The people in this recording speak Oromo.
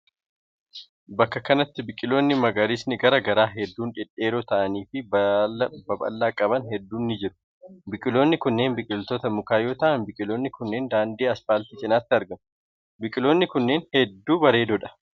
Bakka kanatti baiqiloonni magariisni garaa garaa hedduun dhedheeroo ta'anii fi baala babal'aa qaban hedduun ni jiru. Biqiloonni kunnneen biqiloota mukaa yoo ta'an, biqiloonni kunneen daandii asfaaltii cinaatti argamu. Biqiloonni kunneen hedduu bareedoo dha.